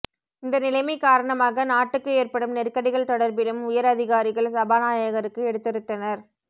இந்த நிலைமை காரணமாக நாட்டுக்கு ஏற்படும் நெருக்கடிகள் தொடர்பிலும் உயர் அதிகாரிகள் சபாநாயகருக்கு எடுத்துரைத்தனர்